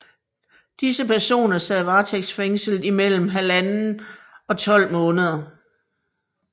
Disse personer sad varetægtsfængslet i mellem 1½ og 12 måneder